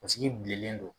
Sigi bilen don